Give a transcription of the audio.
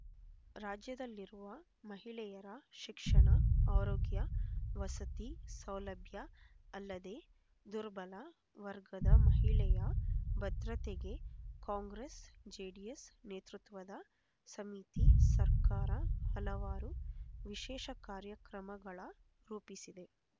ರಾಜ್ಯದಲ್ಲಿರುವ ಮಹಿಳೆಯರ ಶಿಕ್ಷಣ ಆರೋಗ್ಯ ವಸತಿ ಸೌಲಭ್ಯ ಅಲದೆ ದುರ್ಬಲ ವರ್ಗದ ಮಹಿಳೆಯ ಭದ್ರತೆಗೆ ಕಾಂಗ್ರಸ್ ಜೆಡಿಎಸ್ ನೇತೃತ್ಪದ ಸಮಿತಿ ಸರ್ಕಾರ ಹಲವಾರು ವಿಶೇಷ ಕಾರ್ಯಕ್ರಮಗಳ ರೂಪಿಸಿದೆ